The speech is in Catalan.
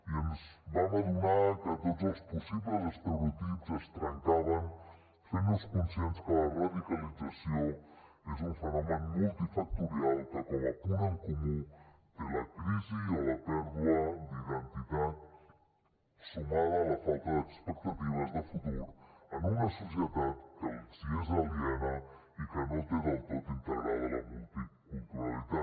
i ens vam adonar que tots els possibles estereotips es trencaven fent nos conscients que la radicalització és un fenomen multifactorial que com a punt en comú té la crisi o la pèrdua d’identitat sumada a la falta d’expectatives de futur en una societat que els és aliena i que no té del tot integrada la multiculturalitat